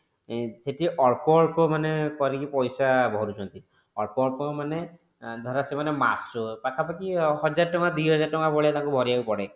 ସେଠି ଅଳ୍ପ ଅଳ୍ପ ମାନେ କରିକି ପଇସା ଭରୁଛନ୍ତି ଅଳ୍ପ ଅଳ୍ପ ମାନେ ଧର ସେମାନେ ମାସ ପାଖା ପାଖି ହଜାର ଟଙ୍କା ଦି ହଜାର ଟଙ୍କା ତାଙ୍କୁ ଭରିବାକୁ ପଡେ।